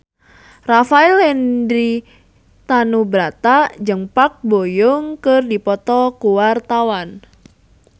Rafael Landry Tanubrata jeung Park Bo Yung keur dipoto ku wartawan